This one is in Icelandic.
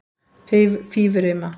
Fífurima